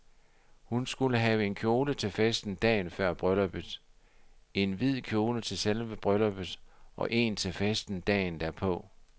Hun skulle have en kjole til festen dagen før brylluppet, én hvid kjole til selve brylluppet, og én til festen dagen derpå.